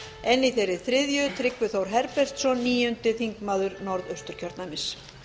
en í þeirri þriðju tryggvi þór herbertsson níundi þingmaður norðausturkjördæmis